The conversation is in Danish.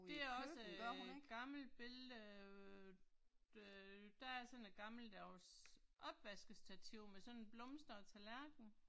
Det er også øh et gammelt billede øh øh der er sådan et gammeldags opvaskestativ med sådan en blomstret tallerken